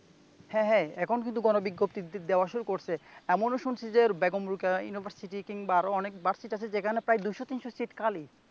হ্যা হ্যা এখন কিন্তু গণবিজ্ঞপ্তি দেওয়া শুরু করছে এমনও শুনছি যে বেগম রোকেয়া ইউনিভার্সিটি কিংবা আরো অনেক ভার্সিটি আছে যেখানে প্রায় দুইশ তিনশ সিট খালি